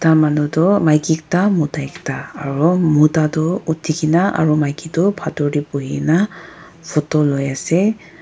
manu toh maiki ekta mota ekta aru muta toh uthikena aru maiki tho bathor te buhina photo lui ase.